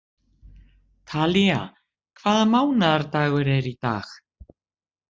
Talía, hvaða mánaðardagur er í dag?